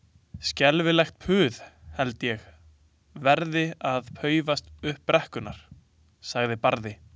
Skelfilegt puð held ég verði að paufast upp brekkurnar, sagði Barði.